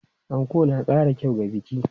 Anko na ƙara kyau ga biki.